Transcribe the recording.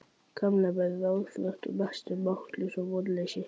Kamilla varð ráðþrota og næstum máttlaus af vonleysi.